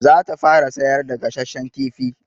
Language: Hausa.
Za ta fara sayar da gasashshan kifi.